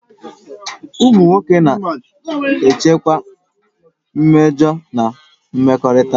Ụmụ nwoke na-echekwa mmejọ na mmekọrịta